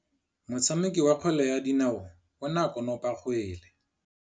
Motshameki wa kgwele ya dinaô o ne a konopa kgwele.